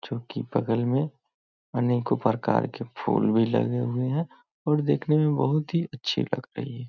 जो की बगल में अनेकों प्रकार के फूल भी लगे हुए हैं और देखने में बहुत ही अच्छे लगते--